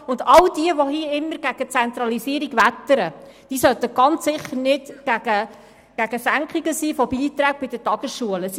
Und alle in diesem Saal, die immer gegen die Zentralisierung wettern, sollten sicherlich gegen Senkungen von Beiträgen an die Tagesschulen sein.